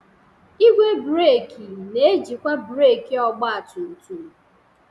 Igwe breeki na-ejikwa breeki ọgba tum tum.